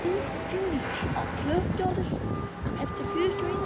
Finndís, slökktu á þessu eftir fjörutíu og eina mínútur.